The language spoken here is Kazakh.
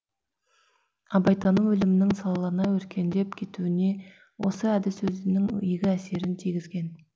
абайтану ілімінің салалана өркендеп кетуіне осы әдіс өзінің игі әсерін тигізген